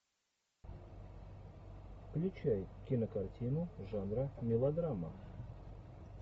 включай кинокартину жанра мелодрама